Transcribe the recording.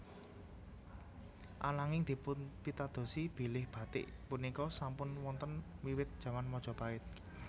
Ananging dipunpitadosi bilih batik punika sampun wonten wiwit jaman Majapahit